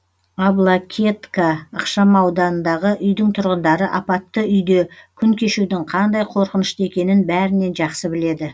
аблакетка ықшамауданындағы үйдің тұрғындары апатты үйде күн кешудің қандай қорқынышты екенін бәрінен жақсы біледі